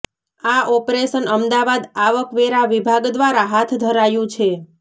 આ આેપરેશન અમદાવાદ આવક વેરા વિભાગ દ્વારા હાથ ધરાયું છે